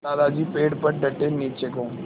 दादाजी पेड़ पर डटे नीचे को